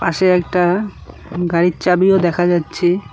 পাশে একটা গাড়ির চাবিও দেখা যাচ্ছে।